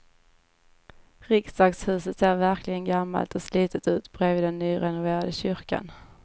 Riksdagshuset ser verkligen gammalt och slitet ut bredvid den nyrenoverade kyrkan.